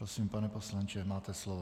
Prosím, pane poslanče, máte slovo.